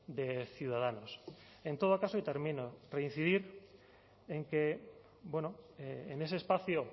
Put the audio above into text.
de ciudadanos en todo caso y termino reincidir en que en ese espacio